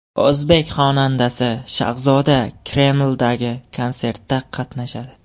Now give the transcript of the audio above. O‘zbek xonandasi Shahzoda Kremldagi konsertda qatnashadi.